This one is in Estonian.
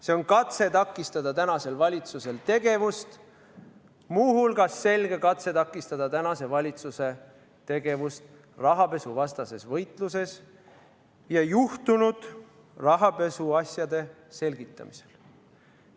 See on katse takistada tänase valitsuse tegevust, muu hulgas on see selge katse takistada tänase valitsuse tegevust rahapesuvastases võitluses ja juhtunud rahapesuasjade selgitamisel.